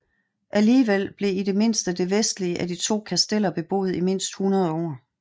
Alligevel blev i det mindste det vestlige af de to kasteller beboet i mindst 100 år